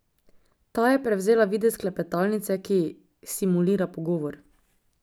Ta je prevzela videz klepetalnice, ki simulira pogovor.